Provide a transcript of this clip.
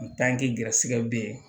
N tanki gɛrɛsɛgɛ be yen